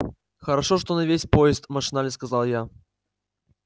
хорошо что не весь поезд машинально сказал я